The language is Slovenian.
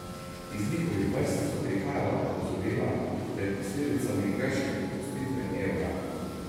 Iz njihovih vrst so prihajala opozorila pred posledicami grške opustitve evra.